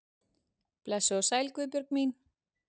Blessuð og sæl Guðbjörg mín.